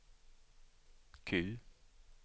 Q